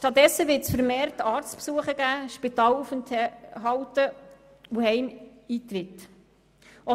Stattdessen wird es vermehrt Arztbesuche und Spitalaufenthalte sowie Heimeintritte geben.